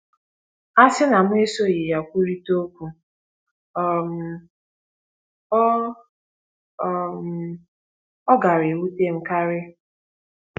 A sị na mụ esoghị ya kwurịta okwu, um ọ um ọ gaara ewute m karị. ”